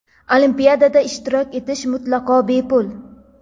Olimpiada ishtirok etish mutlaqo bepul!.